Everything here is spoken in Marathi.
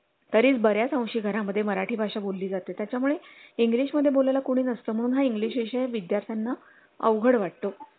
तरीच बर् याच अंशी घरा मध्ये मराठी भाषा बोलली जाते त्यामुळे english मध्ये बोलाय ला कुणी नसतं हा english विद्यार्थ्यांना अवघड वाटतो